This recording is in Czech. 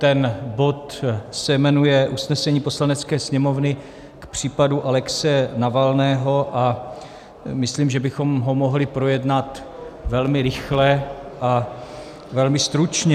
Ten bod se jmenuje Usnesení Poslanecké sněmovny k případu Alexeje Navalného a myslím, že bychom ho mohli projednat velmi rychle a velmi stručně.